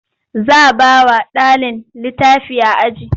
Za bawa ɗalin litafi a aji